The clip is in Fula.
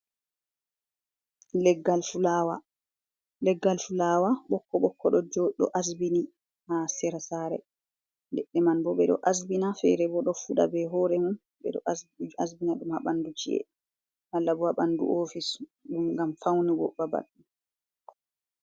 Leggal fulawa ɓokko ɓokko ɗo jo ɗo asbini ha sera saare, leɗɗe man bo ɓe ɗo asbina feere bo ɗo fuɗa bei hoore mum, ɓe ɗo asbina ɗum ha bandu ci'e malla bo ha bandu ofis ɗum ngam faunugo babal.